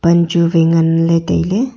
pan chu wai nganley tailey.